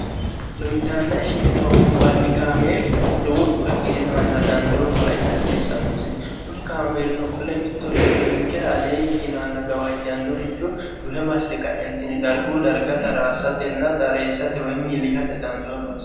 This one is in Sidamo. lowiddaannae shine hogombanni kaameeli lowo dhugafirinoanna dandoonowa ikkhsiissannosi kuni kaameelino qole mittoricho ninkera aliye ikkinoanna gawaajjannoricho duhe masse qaentini darguu darga taraassatenna xareessate woy miillisate dandoonowa